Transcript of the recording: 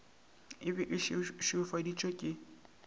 e be e šweufaditšwe ke